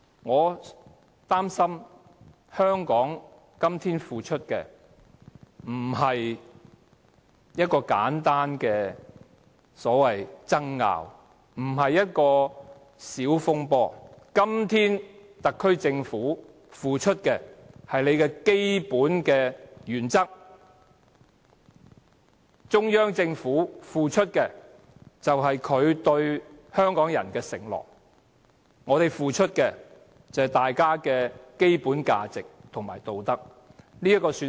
我擔心香港今天付出的並非簡單的所謂爭拗，也不是小風波，特區政府今天付出的是它的基本原則；而中央政府付出的是它對香港人的承諾；香港人付出的是大家的基本價值和道德。